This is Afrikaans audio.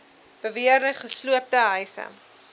beweerde gesloopte huise